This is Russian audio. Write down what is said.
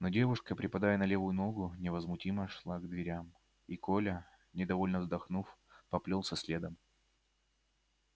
но девушка припадая на левую ногу невозмутимо шла к дверям и коля недовольно вздохнув поплёлся следом